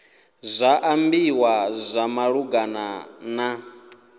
zwa ambiwa zwa malugana na